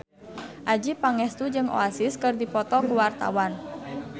Adjie Pangestu jeung Oasis keur dipoto ku wartawan